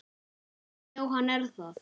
Já, hann er það.